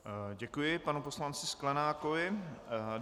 Děkuji panu poslanci Sklenákovi.